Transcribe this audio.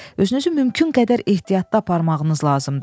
Özünüzü mümkün qədər ehtiyatda aparmağınız lazımdır.